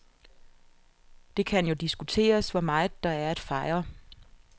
Det kan jo diskuteres, hvor meget der er at fejre.